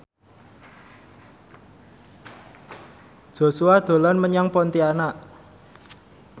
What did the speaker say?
Joshua dolan menyang Pontianak